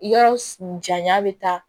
Yɔrɔ janya bɛ taa